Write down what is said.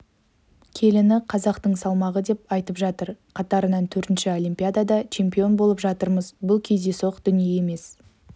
келіні қазақтың салмағы деп айтып жатыр қатарынан төртінші олимпиадада чемпион болып жатырмыз бұл кездейсоқ дүние емес